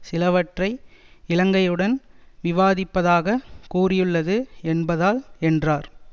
சிலவற்றை இலங்கைவுடன் விவாதிப்பதாகக் கூறியுள்ளது என்பதால் என்றார்